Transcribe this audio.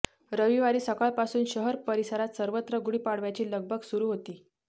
रविवारी सकाळपासून शहर परिसरात सर्वत्र गुढीपाडव्याची लगबग सुरू होती